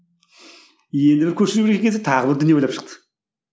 енді бір көшіруге тағы бір дүние ойлап шықты